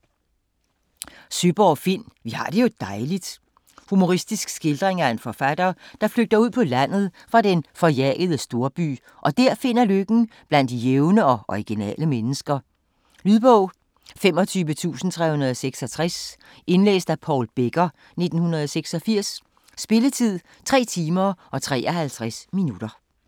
Søeborg, Finn: Vi har det jo dejligt! Humoristisk skildring af en forfatter, der flygter ud på landet fra den forjagede storby og dér finder lykken blandt de jævne og originale mennesker. Lydbog 25366 Indlæst af Paul Becker, 1986. Spilletid: 3 timer, 53 minutter.